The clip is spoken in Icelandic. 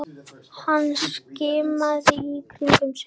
Hann skimaði í kringum sig.